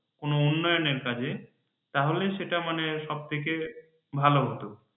কোন উন্নয়নের কাজে মানে সেটা মানে সব থেকে ভালো হতো